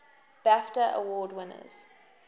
bafta award winners